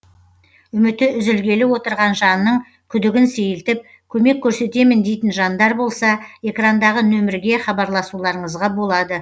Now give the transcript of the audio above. үміті үзілгелі отырған жанның күдігін сейілтіп көмек көрсетемін дейтін жандар болса экрандағы нөмірге хабарласуларыңызға болады